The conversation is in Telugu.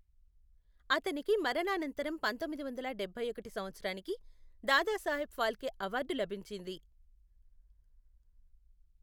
అతనికి మరణానంతరం పంతొమ్మిది వందల డబ్బై ఒకటి సంవత్సరానికి దాదాసాహెబ్ ఫాల్కే అవార్డు లభించింది.